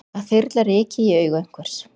Að þyrla ryki í augu einhvers